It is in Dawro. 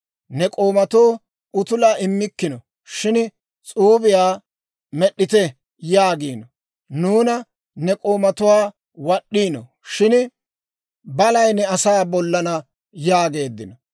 Ne k'oomatoo utulaa immikkino; shin, ‹S'uubiyaa med'd'ite› yaagiino; nuuna ne k'oomatuwaa wad'd'iino; shin balay ne asaa bollana» yaageeddino.